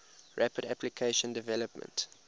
rapid application development